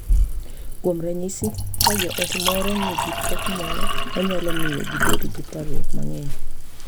Kuom ranyisi, ka joot moro nigi pek moro ma nyalo miyo gibed gi parruok mang’eny, .